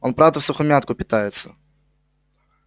он правда всухомятку питается